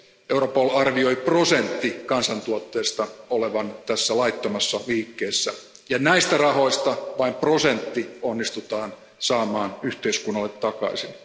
Europol arvioi prosentin kansantuotteesta olevan tässä laittomassa liikkeessä, ja näistä rahoista vain prosentti onnistutaan saamaan yhteiskunnalle takaisin.